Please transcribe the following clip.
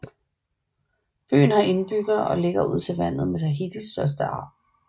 Byen har indbyggere og ligger ud til vandet med Tahitis største havn